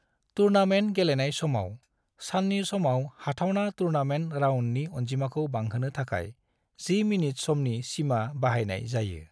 Tournament गेलेनाय समाव, साननि समाव हाथावना टूर्नामेंट राउंडनि अनजिमाखौ बांहोनो थाखाय 10 मिनिट समनि सीमा बाहायनाय जायो।